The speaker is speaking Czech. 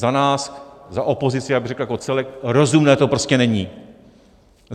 Za nás, za opozici, já bych řekl jako celek: rozumné to prostě není!